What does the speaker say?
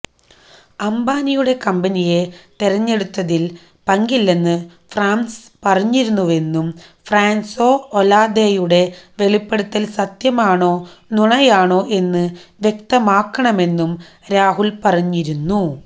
അംബാനിയുടെ കമ്പനിയെ തെരെഞ്ഞെടുത്തതിൽ പങ്കില്ലെന്ന് ഫ്രാൻസ് പറഞ്ഞിരുന്നുവെന്നും ഫ്രാൻസോ ഒലാദെയുടെ വെളിപ്പെടുത്തൽ സത്യമാണോ നുണയാണോ എന്ന് വ്യക്തമാക്കണമെന്നും രാഹുൽ പറഞ്ഞിരുന്നു